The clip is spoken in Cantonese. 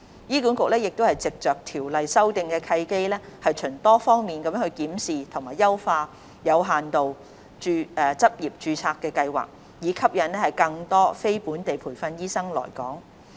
醫管局藉着修訂《醫生註冊條例》的契機，循多方面檢視及優化有限度執業註冊計劃，以吸引更多非本地培訓醫生來港。